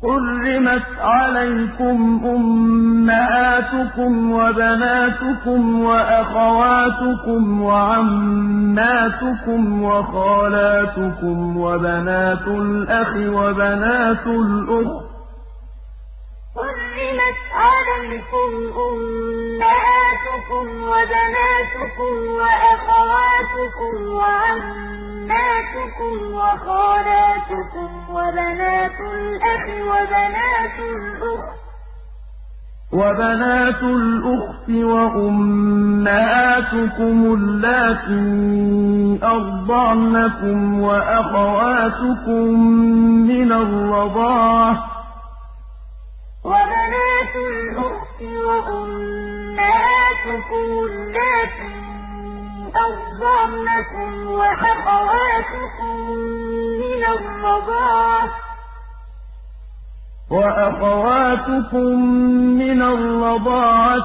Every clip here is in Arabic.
حُرِّمَتْ عَلَيْكُمْ أُمَّهَاتُكُمْ وَبَنَاتُكُمْ وَأَخَوَاتُكُمْ وَعَمَّاتُكُمْ وَخَالَاتُكُمْ وَبَنَاتُ الْأَخِ وَبَنَاتُ الْأُخْتِ وَأُمَّهَاتُكُمُ اللَّاتِي أَرْضَعْنَكُمْ وَأَخَوَاتُكُم مِّنَ الرَّضَاعَةِ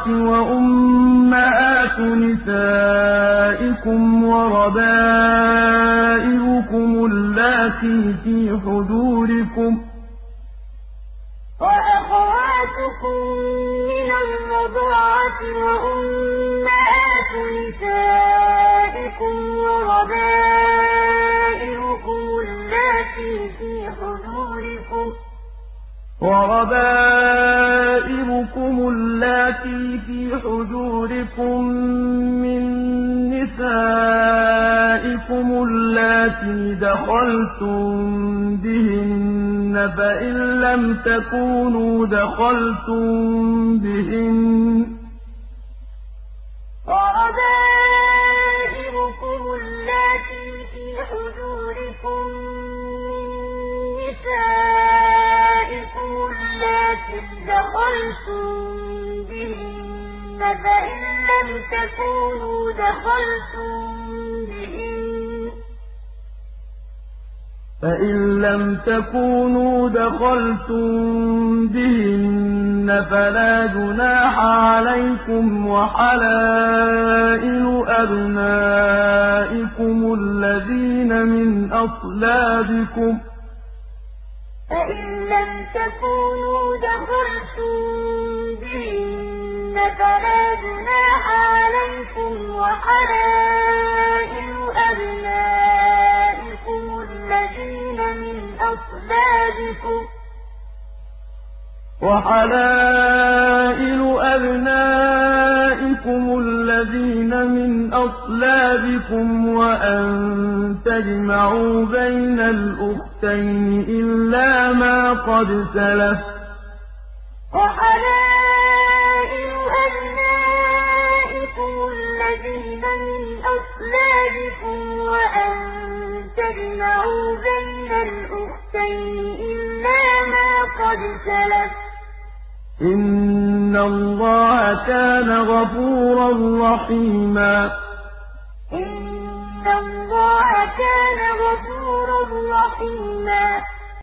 وَأُمَّهَاتُ نِسَائِكُمْ وَرَبَائِبُكُمُ اللَّاتِي فِي حُجُورِكُم مِّن نِّسَائِكُمُ اللَّاتِي دَخَلْتُم بِهِنَّ فَإِن لَّمْ تَكُونُوا دَخَلْتُم بِهِنَّ فَلَا جُنَاحَ عَلَيْكُمْ وَحَلَائِلُ أَبْنَائِكُمُ الَّذِينَ مِنْ أَصْلَابِكُمْ وَأَن تَجْمَعُوا بَيْنَ الْأُخْتَيْنِ إِلَّا مَا قَدْ سَلَفَ ۗ إِنَّ اللَّهَ كَانَ غَفُورًا رَّحِيمًا حُرِّمَتْ عَلَيْكُمْ أُمَّهَاتُكُمْ وَبَنَاتُكُمْ وَأَخَوَاتُكُمْ وَعَمَّاتُكُمْ وَخَالَاتُكُمْ وَبَنَاتُ الْأَخِ وَبَنَاتُ الْأُخْتِ وَأُمَّهَاتُكُمُ اللَّاتِي أَرْضَعْنَكُمْ وَأَخَوَاتُكُم مِّنَ الرَّضَاعَةِ وَأُمَّهَاتُ نِسَائِكُمْ وَرَبَائِبُكُمُ اللَّاتِي فِي حُجُورِكُم مِّن نِّسَائِكُمُ اللَّاتِي دَخَلْتُم بِهِنَّ فَإِن لَّمْ تَكُونُوا دَخَلْتُم بِهِنَّ فَلَا جُنَاحَ عَلَيْكُمْ وَحَلَائِلُ أَبْنَائِكُمُ الَّذِينَ مِنْ أَصْلَابِكُمْ وَأَن تَجْمَعُوا بَيْنَ الْأُخْتَيْنِ إِلَّا مَا قَدْ سَلَفَ ۗ إِنَّ اللَّهَ كَانَ غَفُورًا رَّحِيمًا